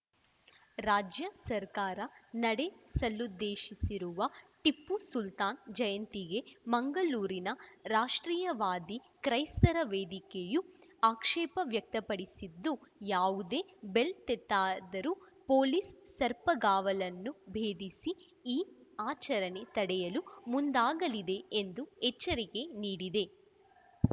ರಾಜ್ಯ ಸರ್ಕಾರ ನಡೆಸಲುದ್ದೇಶಿಸಿರುವ ಟಿಪ್ಪು ಸುಲ್ತಾನ್‌ ಜಯಂತಿಗೆ ಮಂಗಳೂರಿನ ರಾಷ್ಟ್ರೀಯವಾದಿ ಕ್ರೈಸ್ತರ ವೇದಿಕೆಯು ಆಕ್ಷೇಪ ವ್ಯಕ್ತಪಡಿಸಿದ್ದು ಯಾವುದೇ ಬೆಲೆ ತೆತ್ತಾದರೂ ಪೊಲೀಸ್‌ ಸರ್ಪಗಾವಲನ್ನು ಭೇದಿಸಿ ಈ ಆಚರಣೆ ತಡೆಯಲು ಮುಂದಾಗಲಿದೆ ಎಂದು ಎಚ್ಚರಿಕೆ ನೀಡಿದೆ